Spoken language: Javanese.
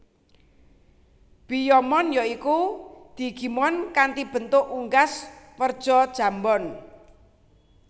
Biyomon ya iku digimon kanthi bentuk unggas werja jambon